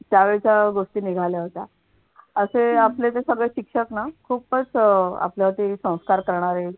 त्यावेळेच्या गोष्टी निघाल्या होत्या. असे आपले जे सगळे शिक्षक ना खूपच अह आपलं ते संस्कार करणारे